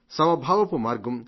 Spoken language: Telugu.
సమభావపు మార్గం